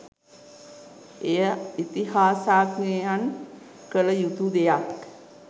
එය ඉතිහාසඥයන් කළ යුතු දෙයක්.